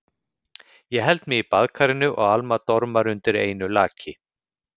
Ég held mig í baðkarinu og Alma dormar undir einu laki.